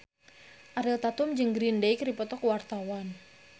Ariel Tatum jeung Green Day keur dipoto ku wartawan